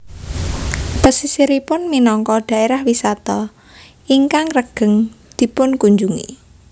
Pesisiripun minangka daerah wisata ingkang regeng dipunkunjungi